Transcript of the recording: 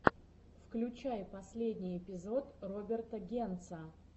включай последний эпизод роберта генца